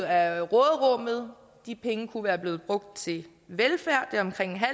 af råderummet de penge kunne være blevet brugt til velfærd det er omkring